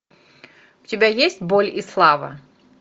у тебя есть боль и слава